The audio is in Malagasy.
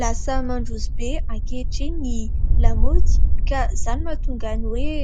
Lasa mandroso be ankehitriny ny lamaody ka izany mahatonga ny hoe